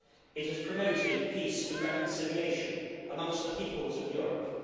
It has promoted peace and reconciliation amongst the peoples of Europe.